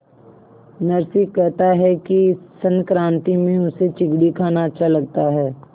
नरसी कहता है कि संक्रांति में उसे चिगडी खाना अच्छा लगता है